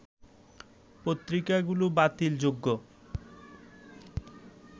পত্রিকাগুলো বাতিল যোগ্য